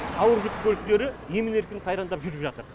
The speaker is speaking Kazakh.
ауыр жүк көліктері емін еркін қайрандап жүріп жатыр